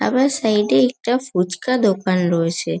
আবার সাইড -এ একটা ফুচকা দোকান রয়েছে।